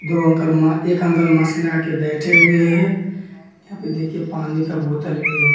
दो अंकल मा एक अंकल मास्क लगा के बैठे हुए हैं यहाँ पे देखिए पानी का बोतल भी है।